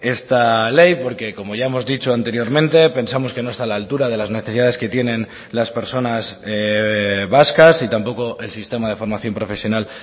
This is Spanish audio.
esta ley porque como ya hemos dicho anteriormente pensamos que no está a la altura de las necesidades que tienen las personas vascas y tampoco el sistema de formación profesional